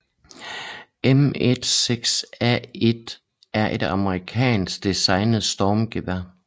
M16A1 er et amerikansk designet stormgevær